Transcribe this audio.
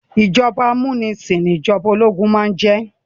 Ìjọba amúnisìn ní ìjọba ológun máà ń jẹ́.